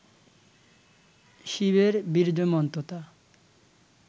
শিবের বীর্যমন্ততা